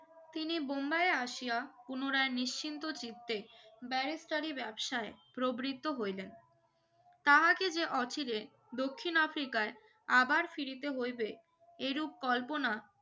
তিনি মুম্বাইয়ের আসিয়া পুনরায় নিশ্চিন্ত চিত্তে barrister ই ব্যবসায় প্রবিত্র হইলেন তাহকে যে অচিরে দক্ষিন আফ্রিকায় আবার ফিরিতে হিইবে এইরুপ কল্পনা